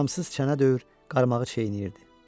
Aramsız çənə döyür, qarmağı çeynəyirdi.